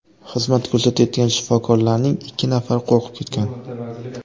Xizmat ko‘rsatayotgan shifokorlarning ikki nafari qo‘rqib ketgan.